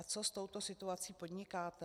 A co s touto situací podnikáte?